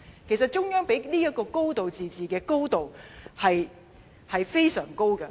其實中央給予這個"高度自治"的高度，是非常高的。